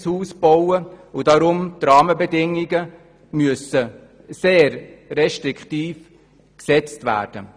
Deshalb müssen die Rahmenbedingungen sehr restriktiv gesetzt werden.